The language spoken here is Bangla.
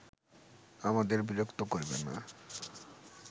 আমাদের বিরক্ত করবে না